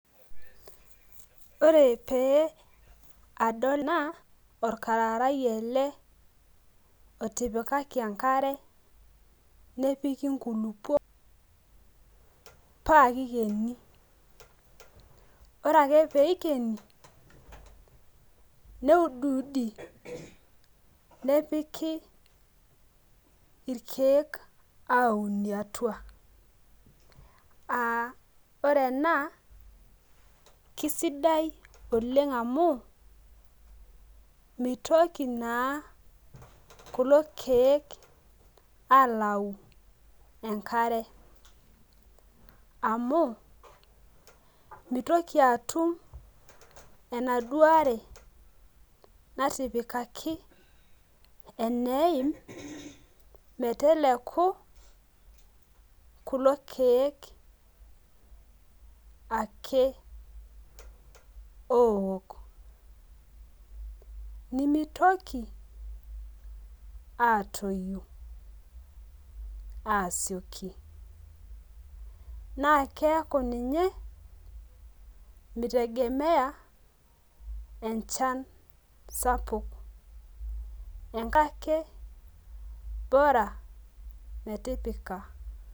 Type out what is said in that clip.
Ore pee adol naa, orkararae ele lotipikaki enkare, nepiki nkulukuok pa kikeni. Ore ake peikeni, neudiudi, nepiki irkeek aunie atua. Ah ore ena, kisidai oleng amu, mitoki naa kulo keek alau enkare. Amu, mitoki atum enaduo are natipikaki eneim meteleku kulo keek ake ook. Nimitoki, atoyu asioki. Na keeku ninye, mi tegemea enchan sapuk. Enkake bora metipika.